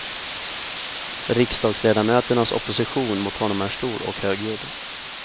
Riksdagsledamöternas opposition mot honom är stor och högljudd.